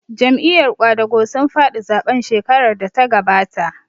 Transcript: Jam'iyar ƙwadago sun faɗi zaɓen shekarar da ta gabata